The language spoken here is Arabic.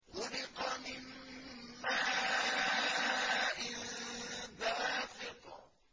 خُلِقَ مِن مَّاءٍ دَافِقٍ